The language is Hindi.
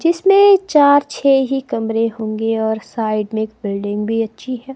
जिसमें चार छे ही कमरे होंगे और साइड में बिल्डिंग भी अच्छी है।